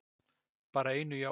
bara einu jái.